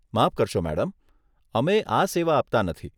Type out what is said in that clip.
માફ કરશો, મેડમ. અમે આ સેવા આપતા નથી.